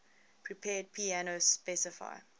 prepared piano specify